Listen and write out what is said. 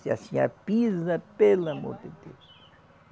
Se a senhora pisa, pelo amor de Deus.